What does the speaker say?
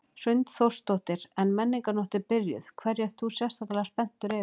Hrund Þórsdóttir: En Menningarnótt er byrjuð, hverju ert þú sérstaklega spenntur yfir?